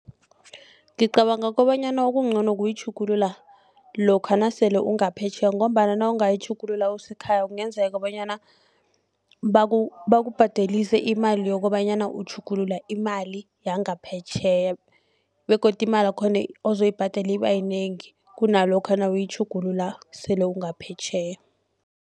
Ngicabanga kobanyana okungcono kuyitjhugulula lokha nasele ungaphetjheya ngombana nawungayitjhugulula usekhaya kungenzeka bonyana bakubhadelise imali yokobanyana utjhugulula imali yangaphetjheya begodu imalakhona ozoyibhadela ibayinengi kunalokha nawuyitjhugulula sele ungaphetjheya.